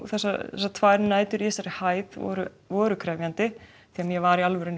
þessar tvær nætur í þessari hæð voru voru krefjandi ég var í alvörunni